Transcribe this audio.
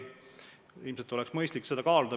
Ilmselt on mõistlik seda kaaluda.